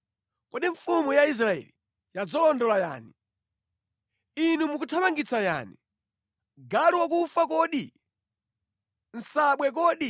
“Kodi mfumu ya Israeli yadzalondola yani. Inu mukuthamangitsa yani? Galu wakufa kodi? Nsabwe kodi?